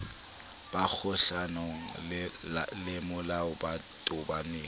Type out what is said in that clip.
ba kgohlanong lemolao ba tobaneng